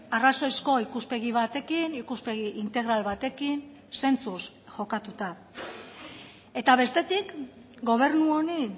arrazoizko ikuspegi batekin ikuspegi integral batekin zentzuz jokatuta eta bestetik gobernu honi